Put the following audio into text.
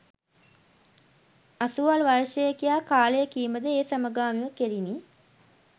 අසුවල් වර්ෂයේ කියා කාලය කීමද ඒ සමගාමිව කෙරිණි